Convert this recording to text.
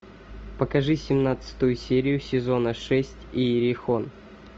покажи семнадцатую серию сезона шесть иерихон